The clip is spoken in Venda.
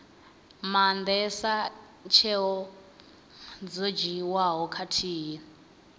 maandesa tsheo dzo dzhiiwaho khathihi